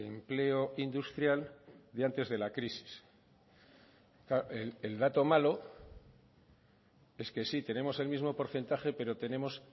empleo industrial y antes de la crisis claro el dato malo es que sí tenemos el mismo porcentaje pero tenemos